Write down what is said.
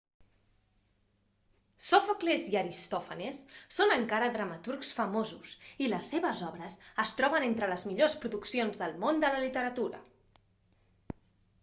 sòfocles i aristòfanes són encara dramaturgs famosos i les seves obres es troben entre les millors produccions del món de la literatura